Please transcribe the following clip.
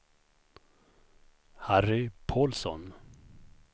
Harry Pålsson